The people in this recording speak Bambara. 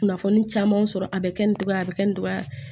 Kunnafoni caman sɔrɔ a bɛ kɛ nin cogoya a bɛ kɛ nin cogoya